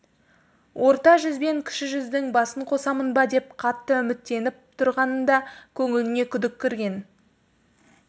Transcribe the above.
орта жүз бен кіші жүздің басын қосамын ба деп қатты үміттеніп тұрғанында көңіліне күдік кірген